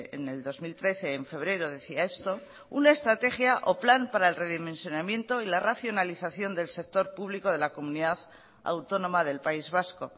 en el dos mil trece en febrero decía esto una estrategia o plan para el redimensionamiento y la racionalización del sector público de la comunidad autónoma del país vasco